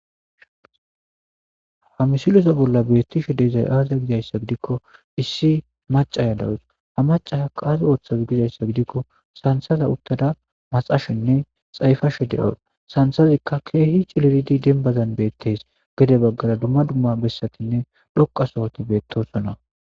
Ha misiloza bolla beettishe deezay aaza gizayssa gidikko issi macaya dawus ha macaa qaazi ooththazi gizayssa gidikko sansaza uttada maxashenne xayfashe de'os sansazikka keehi ciliridi denbazan beettees gede baggara dumma dumma bessatinne dhoqasohoti beettosona.